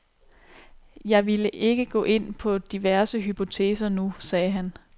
Jeg ville ikke gå ind på diverse hypoteser nu, sagde han.